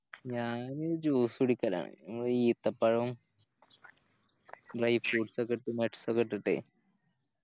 ഞാന് Juice കുടിക്കലാണ് ഈത്തപ്പഴോം Dry fruites ഒക്കെ ഇട്ട് Nuts ഒക്കെ ഇട്ടിട്ടേ